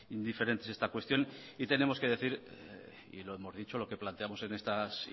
indiferentes esta cuestión y tenemos que decir y lo hemos dicho lo que planteamos en esta